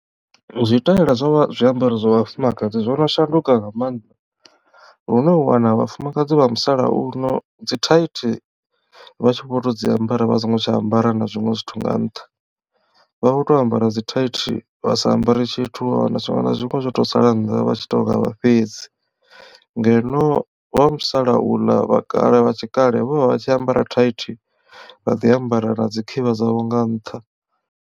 Zwitaela zwa zwiambaro zwa vhafumakadzi zwo no shanduka nga maanḓa lune u wana vhafumakadzi vha musalauno dzithaithi vha tshi vho to dzi ambara vha songo tsha ambara na zwiṅwe zwithu nga nṱha. Vha vho to ambara dzithaithi vha sa ambare tshithu vha wana zwiṅwe na zwiṅwe zwo to sala nnḓa vha tshi to nga vha fhedzi ngeno vha musalauḽa vha kale vha tshi kale vho vha vha tshi ambara thaithi vha ḓi ambara na dzi khivha dzavho nga nṱha.